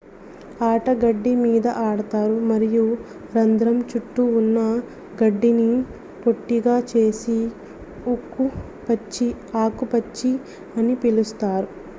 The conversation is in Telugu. ఆట గడ్డి మీద ఆడతారు మరియు రంధ్రం చుట్టూ ఉన్న గడ్డిని పొట్టిగా చేసి ఆకుపచ్చ అని పిలుస్తారు